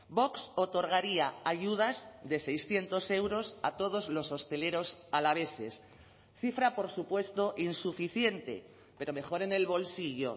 vox otorgaría ayudas de seiscientos euros a todos los hosteleros alaveses cifra por supuesto insuficiente pero mejor en el bolsillo